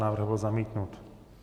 Návrh byl zamítnut.